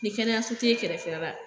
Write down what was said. Ki kɛnɛya su tɛ kɛrɛfɛ la.